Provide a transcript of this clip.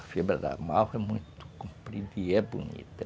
A fibra da malva é muito comprida e é bonita.